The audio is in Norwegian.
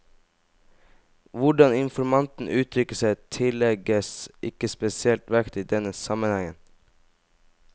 Hvordan informanten uttrykker seg, tillegges ikke spesiell vekt i denne sammenhengen.